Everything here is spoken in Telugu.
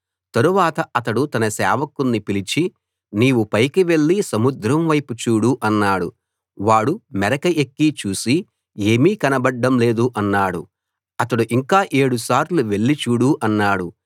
తరువాత అతడు తన సేవకుణ్ణి పిలిచి నీవు పైకి వెళ్లి సముద్రం వైపు చూడు అన్నాడు వాడు మెరక ఎక్కి చూసి ఏమీ కనబడ్డం లేదు అన్నాడు అతడు ఇంకా ఏడు సార్లు వెళ్లి చూడు అన్నాడు